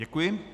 Děkuji.